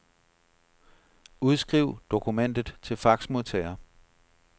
Udskriv dokumentet til faxmodtager.